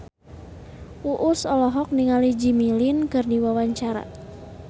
Uus olohok ningali Jimmy Lin keur diwawancara